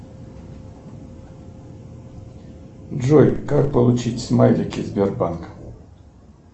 джой как получить смайлики сбербанка